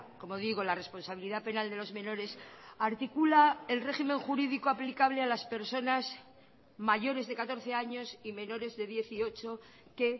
como digo la responsabilidad penal de los menores articula el régimen jurídico aplicable a las personas mayores de catorce años y menores de dieciocho que